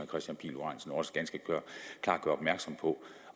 kristian pihl lorentzen også ganske klart gør opmærksom på